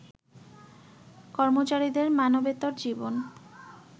কর্মচারীদের মানবেতর জীবন